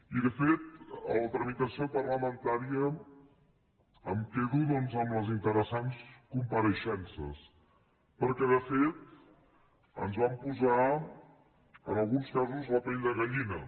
i de fet de la tramitació parlamentària em quedo doncs amb les interessants compareixences perquè ens van posar en alguns casos la pell de gallina